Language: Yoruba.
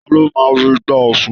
Ta ló máa ru igbá Ọ̀ṣun?